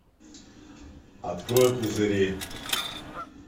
открой пузыри